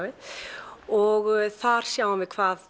og þar sjáum við hvað